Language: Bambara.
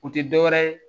O tɛ dɔwɛrɛ ye